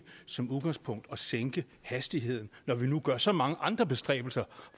som udgangspunkt at sænke hastigheden når der nu gøres så mange andre bestræbelser